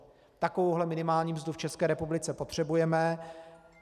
Takovou minimální mzdu v České republice potřebujeme.